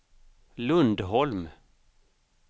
Lundholm